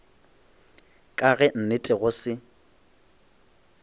ka ge nnete go se